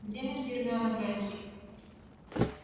где мисс гермиона грэйнджер